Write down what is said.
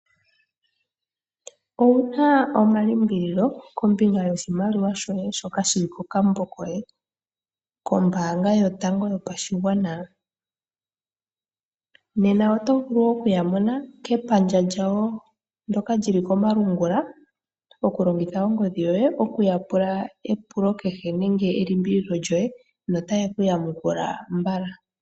Ouna omalimbililo kombinga yoshimaliwa shoye shoka shili kokambo koye kombaanga yotango yopashigwana nena oto vulu okuyamona kepandja lyawo ndoka lili komalungula okulongitha ongodhi yoye okuya pula epulo kehe nenge elimbililo notaye ku yamukula mbala.